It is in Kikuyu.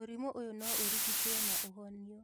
Mũrimũ ũyũ no ũrigituo no ũhonũo